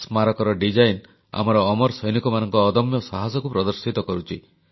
ସ୍ମାରକୀର design ଆମର ଅମର ସୈନିକମାନଙ୍କ ଅଦମ୍ୟ ସାହସକୁ ପ୍ରଦର୍ଶିତ କରୁଛି